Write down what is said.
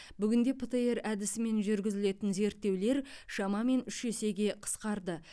бүгінде птр әдісімен жүргізілетін зерттеулер шамамен үш есеге қысқарды